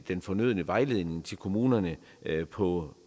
den fornødne vejledning til kommunerne på